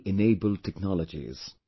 T enabled technologies